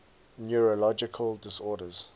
neurological disorders